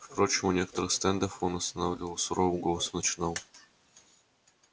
впрочем у некоторых стендов он останавливался с суровым голосом начинал